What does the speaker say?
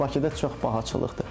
Çünki Bakıda çox bahçılıqdır.